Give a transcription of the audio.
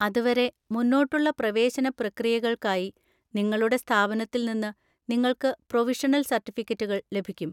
അതുവരെ, മുന്നോട്ടുള്ള പ്രവേശന പ്രക്രിയകൾക്കായി, നിങ്ങളുടെ സ്ഥാപനത്തിൽ നിന്ന് നിങ്ങൾക്ക് പ്രൊവിഷണൽ സർട്ടിഫിക്കറ്റുകൾ ലഭിക്കും.